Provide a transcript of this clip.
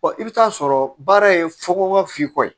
i bɛ taa sɔrɔ baara ye fɔkɔn ye